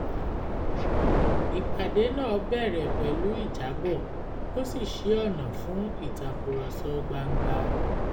ìpàdé náà bẹ̀rẹ̀ pẹ̀lú ìjábọ̀ ó sì ṣí ọ̀nà fún ìtàkurọ̀sọ gbangba